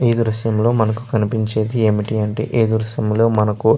ఈ దృశ్యంలో మనకు కనిపించేది ఏమిటి అంటే ఈ దృశ్యం లో మనకు --